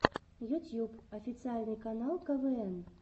ютьюб официальный канал квн